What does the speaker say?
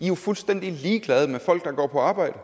jo fuldstændig ligeglade med folk der går på arbejde